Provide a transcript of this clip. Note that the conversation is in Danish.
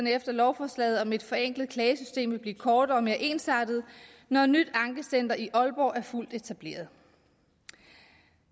efter lovforslaget om et forenklet klagesystem vil blive kortere og mere ensartede når et nyt ankecenter i aalborg er fuldt etableret